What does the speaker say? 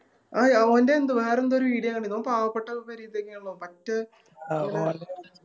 ആ ഓൻറെ വേറെന്തോ ഒരു Video കണ്ടിന് ഓൻ പാവപ്പെട്ട പോരെ ഇതെന്നെയാണല്ലോ പറ്റെ